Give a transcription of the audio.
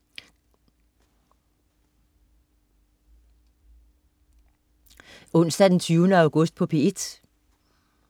Onsdag den 20. august - P1: